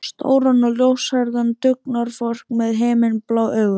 Stóran og ljóshærðan dugnaðarfork með himinblá augu.